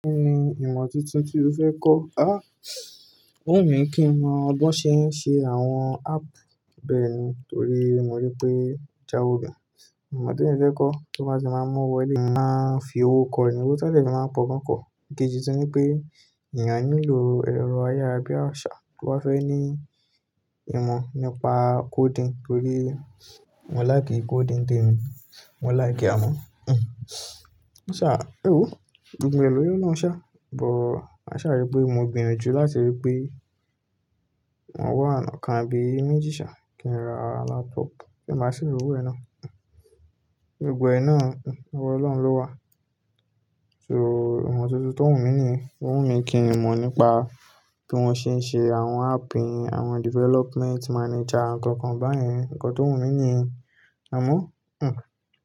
Kí ni ìmọ̀ tuntun tí o fẹ́ kọ́? Áh, ó wù mí kí n mọ bi wọ́n ṣe ń ṣe àwọn app bẹ́ẹ̀ni, torí mo rí i pé ojáwo gan. Ìmọ̀ te mí fẹ́ kọ́, tó bá ti máa mowo wọlé, mo màá fi owó kọ́ ni, owó ti won de fi máa kọ̀ gan pọ̀. Ìkejì sì ni pé ìyẹn á nílò ẹ̀rọ ayára bí i àṣá tó bá fẹ́ ní ìmọ̀ nípa coding torí mo like coding n té mi, mo like e, amọ́. Ṣà, èwò, gbogbo ẹlòmíràn ò ṣà, but màṣà rí pé mo gbìyànjú láti rí pé maa wá oná kan abi meji sa kí n ra laptop tí n bá ṣi rowó ẹ ná. Gbogbo ẹ ná, owó Ọlọ́run ló wà. So, ìmọ̀ tuntun tó wù mí ni, ó wù mí kí n mọ̀ nípa bí wọ́n ṣe ń ṣe àwọn app, àwọn development manager, àwọn nǹkan kan báyẹn. Nnkàn tó wù mí ni yen. Amọ́, hmm.